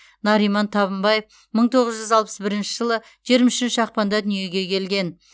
нариман табынбаев мың тоғыз жүз алпыс бірінші жылы жиырма үшінші ақпанда дүниеге келген